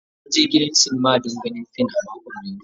Na je gidan sinima don ganin fim a makon da ya wuce.